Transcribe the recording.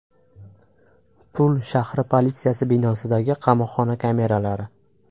Pul shahri politsiyasi binosidagi qamoqxona kameralari.